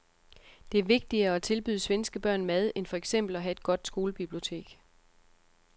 Det er vigtigere at tilbyde svenske børn mad end for eksempel at have et godt skolebibliotek.